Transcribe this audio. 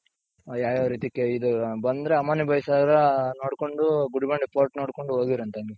ಆ ಯಾವ್ಯಾವ್ ರೀತಿ ಆ ಇದು ಬಂದ್ರೆ ಅಮ್ಮಣ್ಣಿ ಬೈರ್ ಸಾಗರ ನೋಡ್ಕೊಂಡು ಗುಡಿ ಬಂಡೆ fort ನೋಡ್ಕೊಂಡ್ ಹೋಗಿವ್ರಂತೆ ಹಂಗೆ.